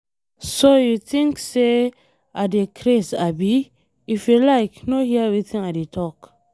So you think say I dey craze abi? If you like no hear wetin I dey talk.